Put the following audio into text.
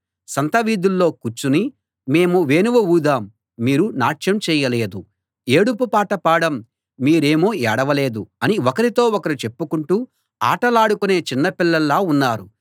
సంతవీధుల్లో కూర్చుని మేము వేణువు ఊదాం మీరు నాట్యం చేయలేదు ఏడుపు పాట పాడాం మీరేమో ఏడవలేదు అని ఒకరితో ఒకరు చెప్పుకుంటూ ఆటలాడుకునే చిన్న పిల్లల్లా ఉన్నారు